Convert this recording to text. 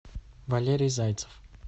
валерий зайцев